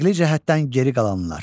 Əqli cəhətdən geri qalanlar.